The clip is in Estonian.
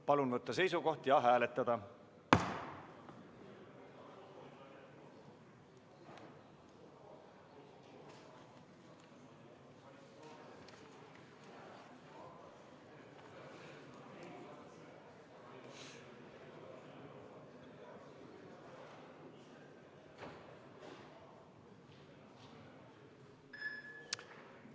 Palun võtta seisukoht ja hääletada!